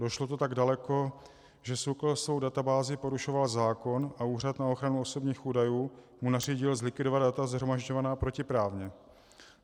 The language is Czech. Došlo to tak daleko, že SÚKL svou databází porušoval zákon a Úřad na ochranu osobních údajů mu nařídil zlikvidovat data shromažďovaná protiprávně.